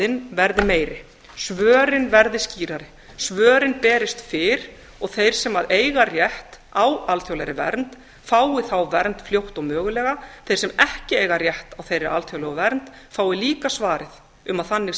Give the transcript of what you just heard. málsmeðferðarhraðinn verði meiri svörin verði skýrari svörin berist fyrr og þeir sem eiga rétt á alþjóðlegri vernd fái þá vernd fljótt og mögulega þeir sem ekki eiga rétt á þeirri alþjóðlegu vernd fái líka svarið um að þannig sé